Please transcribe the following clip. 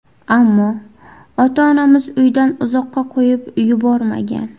Ammo ota-onamiz uydan uzoqqa qo‘yib yubormagan.